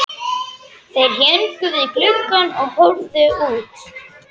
Þeir héngu við gluggann og horfðu út.